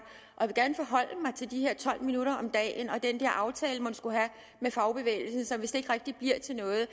og til de her tolv minutter om dagen og den der aftale man skulle have med fagbevægelsen som vist ikke rigtig bliver til noget